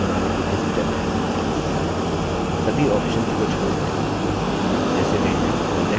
सभी options को छोड़ दें जैसे वे हैं और next पर click करें